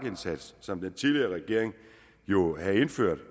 indsats som den tidligere regering jo indførte